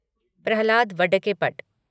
Prahlad Vadakkepat